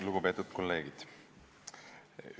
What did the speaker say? Lugupeetud kolleegid!